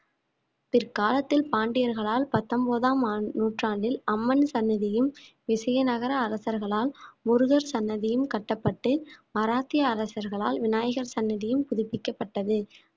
பிற்காலத்தில் பாண்டியர்களால் பத்தொன்பதாம் ஆண்~ நூற்றாண்டில் அம்மன் சன்னதியும் விசைய நகர அரசர்களால் முருகர் சன்னதியும் கட்டப்பட்டு மராத்திய அரசர்களால் விநாயகர் சன்னதியும் புதுப்பிக்கப்பட்டது